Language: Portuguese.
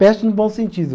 Peste no bom sentido.